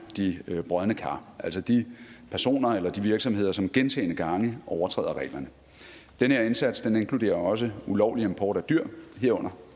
de brodne kar altså de personer eller de virksomheder som gentagne gange overtræder reglerne den her indsats inkluderer også ulovlig import af dyr herunder